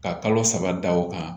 Ka kalo saba da o kan